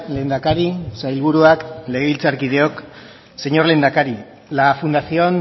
lehendakari sailburuak legebiltzarkideok señor lehendakari la fundación